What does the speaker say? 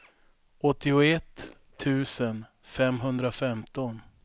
åttioett tusen femhundrafemton